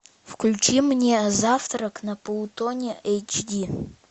включи мне завтрак на плутоне эйч ди